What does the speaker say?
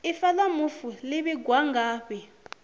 ifa la mufu li vhigwa ngafhi